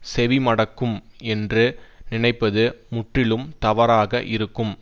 செவி மடக்கும் என்று நினைப்பது முற்றிலும் தவறாக இருக்கும்